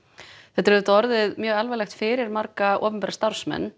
þetta er orðið mjög alvarlegt fyrir marga opinbera starfsmenn